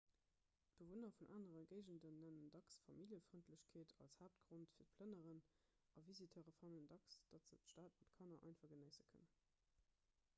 bewunner vun anere géigenden nennen dacks familljefrëndlechkeet als haaptgrond fir d'plënneren a visiteure fannen dacks datt se d'stad mat kanner einfach genéisse kënnen